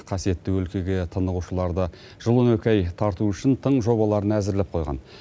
қасиетті өлкеге тынығушыларды жыл он екі ай тарту үшін тың жобаларын әзірлеп қойған